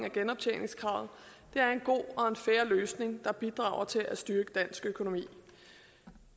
af genoptjeningskravet er en god og fair løsning der bidrager til at styrke dansk økonomi